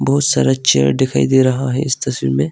बहुत सारा चेयर दिखाई दे रहा है इस तस्वीर में।